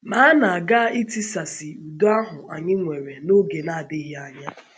Ma a na - aga itisasị um udo ahụ anyị nwere n’oge na um - adịghị anya.